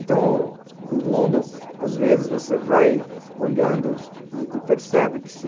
Então, o mundo, às vezes você vai olhando e percebe que se